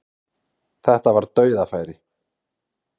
Þetta var dauðafæri